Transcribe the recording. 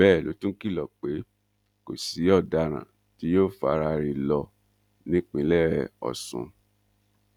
bẹẹ ló tún kìlọ pé kò sí ọdaràn tí yóò faraare lọ nípìnlẹ ọsùn